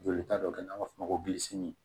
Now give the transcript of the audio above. Joli ta dɔ kɛ n'an b'a fɔ o ma ko